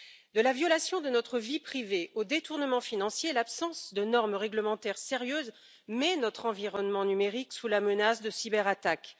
De la violation de notre vie privée aux détournements financiers, l'absence de normes réglementaires sérieuses met notre environnement numérique sous la menace de cyberattaques.